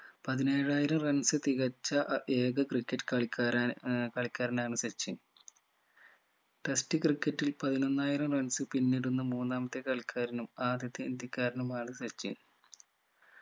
പതിനേഴായിരം runs തികച്ച അഹ് ഏക ക്രിക്കറ്റ് കളിക്കാരാണ് ഏർ കളിക്കാരനാണ് സച്ചിൻ test ക്രിക്കറ്റിൽ പതിനൊന്നായിരം runs പിന്നിടുന്ന മൂന്നാമത്തെ കളിക്കാരനും ആദ്യത്തെ ഇന്ത്യക്കാരനുമാണ് സച്ചിൻ